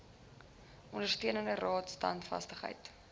ondersteuning raad standvastigheid